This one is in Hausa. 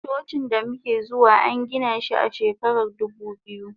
Cocin damuke zuwa angina shi a shekarar dubu biyu.